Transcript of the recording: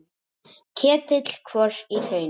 Ketill kvos í hrauni.